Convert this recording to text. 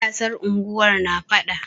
Matasan unguwar na faɗa.